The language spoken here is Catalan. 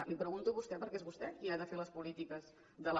li ho pregunto a vostè perquè és vostè qui ha de fer les polítiques de la